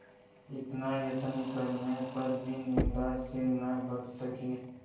इतना यत्न करने पर भी निंदा से न बच सके